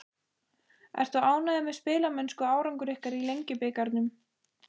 Ertu ánægður með spilamennsku og árangur ykkar í Lengjubikarnum?